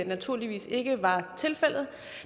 naturligvis ikke var tilfældet